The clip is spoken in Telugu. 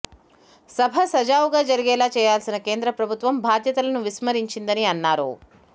సభ సజావుగా జరిగేలా చేయాల్సిన కేంద్ర ప్రభుత్వం బాధ్యతలను విస్మరించిందని అన్నారు